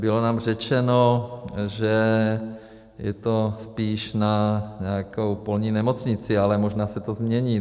Bylo nám řečeno, že je to spíš na nějakou polní nemocnici, ale možná se to změní.